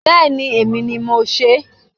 Bẹẹni. Èmi ni mo sè é.